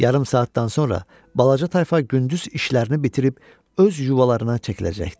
Yarım saatdan sonra balaca tayfa gündüz işlərini bitirib öz yuvalarına çəkiləcəkdi.